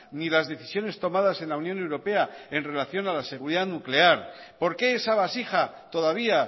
ni las decisiones tomadas en la unión europea en relación a la seguridad nuclear por qué esa vasija todavía